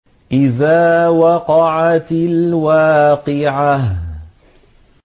إِذَا وَقَعَتِ الْوَاقِعَةُ